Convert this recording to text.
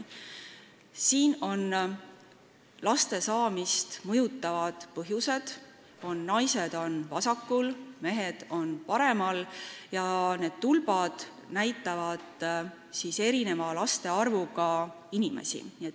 Siin on kirjas laste saamist mõjutavad põhjused, naised on vasakul, mehed on paremal, ja need tulbad näitavad erineva laste arvuga inimesi.